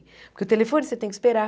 Porque o telefone você tem que esperar.